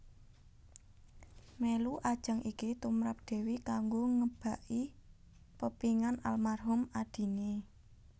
Mèlu ajang iki tumrap Dewi kanggo ngebaki pepénginan almarhum adiné